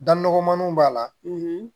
Da nɔgɔmaniw b'a la